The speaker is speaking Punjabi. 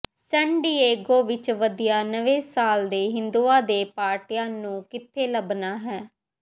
ਸਨ ਡਿਏਗੋ ਵਿੱਚ ਵਧੀਆ ਨਵੇਂ ਸਾਲ ਦੇ ਹਿੰਦੂਆਂ ਦੇ ਪਾਰਟੀਆਂ ਨੂੰ ਕਿੱਥੇ ਲੱਭਣਾ ਹੈ